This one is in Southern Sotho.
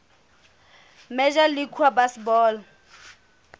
major league baseball